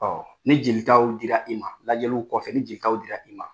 Ɔ ni jelitaw di la i ma, lajɛliw kɔfɛ, ni jɛlitaw di la i ma